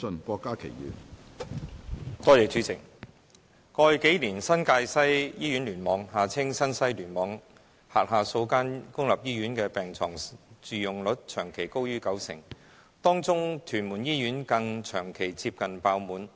主席，過去數年，新界西醫院聯網轄下數間公立醫院的病床住用率長期高於九成，當中的屯門醫院更長期接近爆滿。